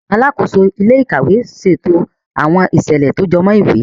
Alàkóso ilé-íkàwe ṣètò awọn iṣẹlẹ tí o jọmọ ìwé.